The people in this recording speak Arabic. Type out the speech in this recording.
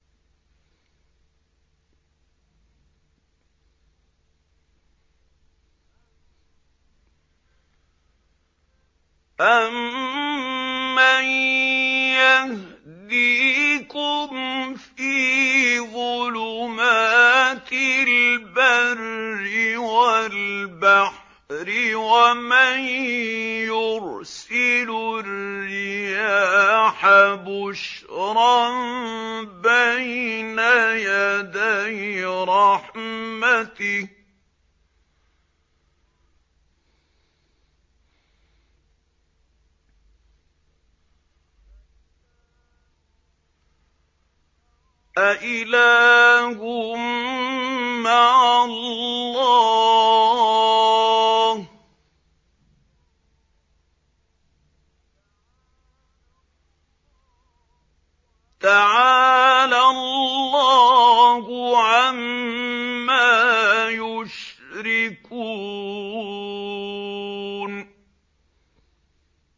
أَمَّن يَهْدِيكُمْ فِي ظُلُمَاتِ الْبَرِّ وَالْبَحْرِ وَمَن يُرْسِلُ الرِّيَاحَ بُشْرًا بَيْنَ يَدَيْ رَحْمَتِهِ ۗ أَإِلَٰهٌ مَّعَ اللَّهِ ۚ تَعَالَى اللَّهُ عَمَّا يُشْرِكُونَ